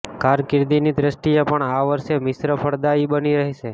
કારકિર્દીની દૃષ્ટિએ પણ આ વર્ષ મિશ્ર ફળદાયી બની રહેશે